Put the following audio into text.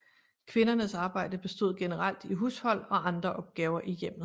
Kvindernes arbejde bestod generelt i hushold og andre opgaver i hjemmet